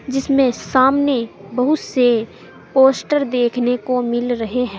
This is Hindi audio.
जिसमें सामने बहुत से पोस्टर देखने को मिल रहे हैं।